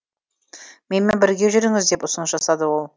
менімен бірге жүріңіз деп ұсыныс жасады ол